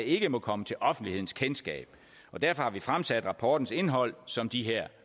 ikke må komme til offentlighedens kendskab og derfor har vi fremsat rapportens indhold som de her